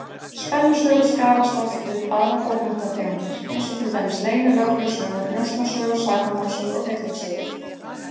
Spennusögur skarast oft við aðrar bókmenntategundir, eins og til dæmis leynilögreglusögur, njósnasögur, sakamálasögur og hryllingssögur.